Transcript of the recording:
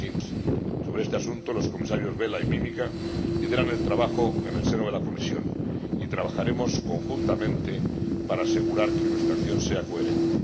2015. Sobre este asunto, los Comisarios Vella y Mimica lideran el trabajo en el seno de la Comisión, y trabajaremos conjuntamente para asegurar que nuestra acción sea coherente.